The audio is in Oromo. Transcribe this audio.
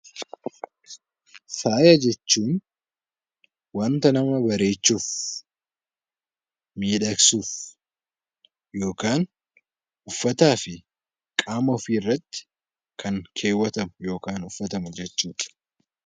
Faaya jechuun wanta nama bareechuuf, miidhagsuuf yookaan uffataa fi qaama ofiirratti kan keewwatamu yookaan uffatamu jechuudha.